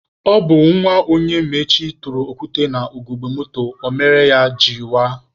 Ọ bụ nwa Onyemaechi tụrụ okwute na ugogbe moto a mere o jiri waa.